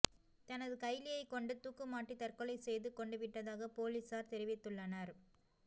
தனது கைலியைக் கொண்டு தூக்குமாட்டி தற்கொலை செய்து கொண்டுவிட்டதாக போலீசார் தெரிவித்துள்ளனர்